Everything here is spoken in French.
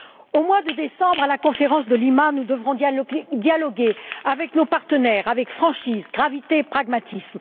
Au mois de décembre, à la conférence de Lima, nous devrons dialoguer avec nos partenaires avec franchise, gravité et pragmatisme.